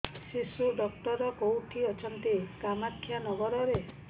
ଶିଶୁ ଡକ୍ଟର କୋଉଠି ଅଛନ୍ତି କାମାକ୍ଷାନଗରରେ